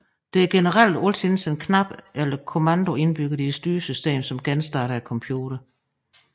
Der er generelt altid en knap eller kommando indbygget i styresystemet som genstarter computeren